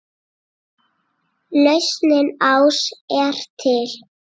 Lausnin ás er til.